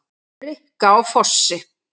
Rikka á Fossi!